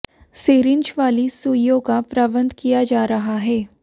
syringe वाली सूइयों का प्रबंध किया जा रहा है